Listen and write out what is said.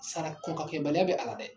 Sara kɔn k'a kɛ baliya bɛ a la dɛ